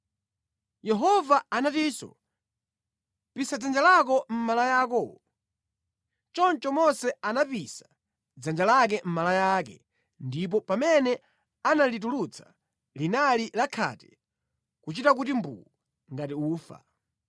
Yehova anatinso, “Pisa dzanja lako mʼmalaya akowo.” Choncho Mose anapisa dzanja lake mʼmalaya ake ndipo pamene analitulutsa, linali la khate kuchita kuti mbuu ngati ufa.